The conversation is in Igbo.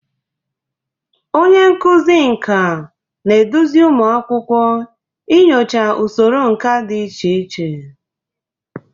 Onye nkuzi nka na-eduzi ụmụ akwụkwọ inyocha usoro nka dị iche iche.